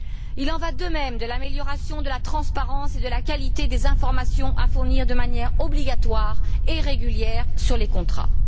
Il en va de même de l'amélioration de la transparence et de la qualité des informations à fournir de manière obligatoire et régulière sur les contrats.